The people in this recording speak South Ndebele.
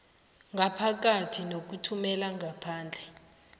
ngaphakathi nokuthumela ngaphandle